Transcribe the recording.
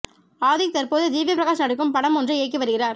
ஆதிக் தற்போது ஜிவி பிரகாஷ் நடிக்கும் படம் ஒன்றை இயக்கி வருகிறார்